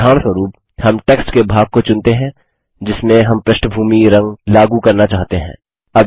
उदाहरणस्वरूप हम टेक्स्ट के भाग को चुनते हैं जिसमें हम पृष्ठभूमी रंगबैकग्राउंड कलर लागू करना चाहते हैं